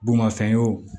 Bolimafɛn y'o